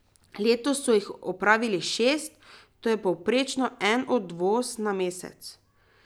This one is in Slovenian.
Letos so jih opravili šest, to je povprečno en odvoz na mesec.